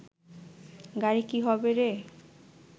গাড়ি কি হবে রে